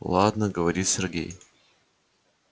ладно говорит сергей